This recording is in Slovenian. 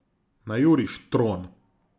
Na juriš, Tron!